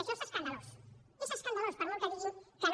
això és escandalós és escandalós per molt que diguin que no